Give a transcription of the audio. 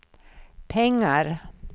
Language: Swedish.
pengar